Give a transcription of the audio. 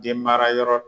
Den mara yɔrɔ